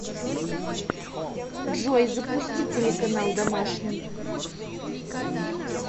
джой запусти телеканал домашний